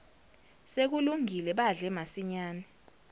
sekulungile badle masinyane